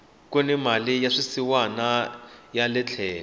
kuni mali ya swisiwana yale tlhelo